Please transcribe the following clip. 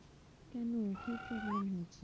কেন কি problem হচ্ছে?